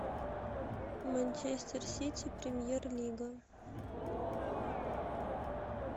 манчестер сити премьер лига